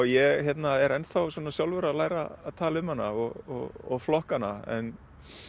ég er ennþá sjálfur að læra að tala um hana og flokka hana en